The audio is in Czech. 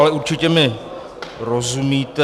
Ale určitě mi rozumíte.